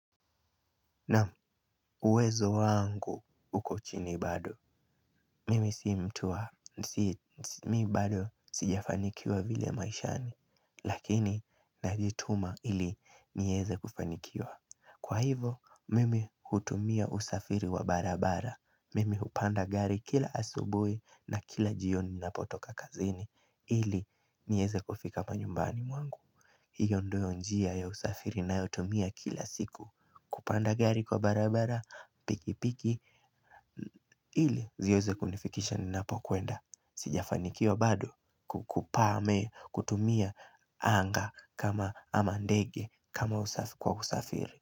Naam, uwezo wangu uko chini bado. Mimi si mtu wa. Mi bado sijafanikiwa vile maishani. Lakini najituma ili niweze kufanikiwa. Kwa hivyo, mimi hutumia usafiri wa barabara. Mimi hupanda gari kila asubuhi na kila jioni ninapotoka kazini. Ili niweze kufika hapa nyumbani wangu. Hiyo ndiyo njia ya usafiri ninayotumia kila siku. Kupanda gari kwa barabara, pikipiki, ili ziweze kunifikisha ninapokuenda. Sijafanikiwa bado kukupame, kutumia anga, kama ama ndege, kama kwa kusafiri.